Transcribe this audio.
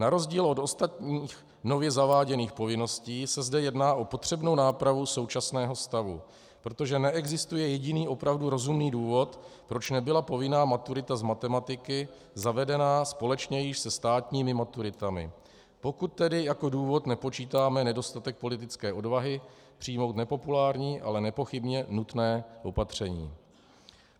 Na rozdíl od ostatních nově zaváděných povinností se zde jedná o potřebnou nápravu současného stavu, protože neexistuje jediný opravdu rozumný důvod, proč nebyla povinná maturita z matematiky zavedena společně již se státními maturitami, pokud tedy jako důvod nepočítáme nedostatek politické odvahy přijmout nepopulární, ale nepochybně nutné opatření.